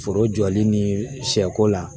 Foro jɔli ni shɛ ko la.